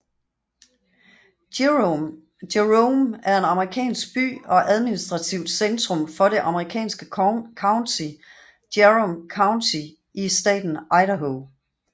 Jerome er en amerikansk by og administrativt centrum for det amerikanske county Jerome County i staten Idaho